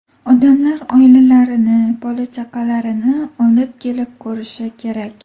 Odamlar oilalarini, bola-chaqalarini olib kelib ko‘rishi kerak.